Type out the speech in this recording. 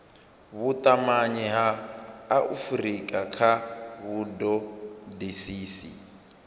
vhutumanyi ha afurika kha vhutodisisi